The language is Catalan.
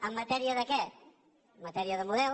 en matèria de què en matèria de model